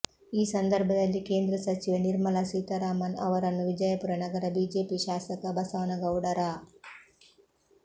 ಈ ಸಂದರ್ಭದಲ್ಲಿ ಕೇಂದ್ರ ಸಚಿವೆ ನಿರ್ಮಲಾ ಸೀತಾರಾಮನ್ ಅವರನ್ನು ವಿಜಯಪುರ ನಗರ ಬಿಜೆಪಿ ಶಾಸಕ ಬಸನಗೌಡ ರಾ